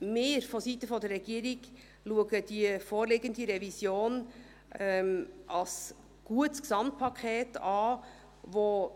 Wir vonseiten der Regierung betrachten die vorliegende Revision als gutes Gesamtpaket, das